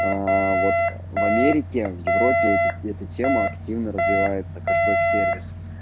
а вот в америке в европе эти это тема активно развивается кэшбэк сервис